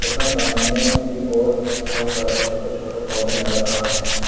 तथा सामने की ओर बहुत सारे छोटे छोटे पौधे नजर आ रहे हैं।